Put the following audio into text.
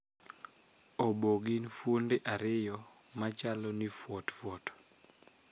Oboo gin fuonde ariyo machal ni fuotfuot.